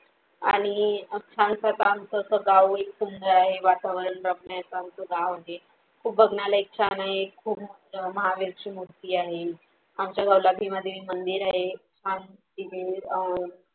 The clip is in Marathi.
आणि अ छानस अस आमचा अस गाव एक सुंदर आहे वातावरण रम्य अस आमचं गाव आहे, खूप बघण्यालायक छान आहे, खूप मोठं महावीर ची मूर्ती आहे, आमचा गावाला भीमादेवी मंदिर आहे आणि तिथे अ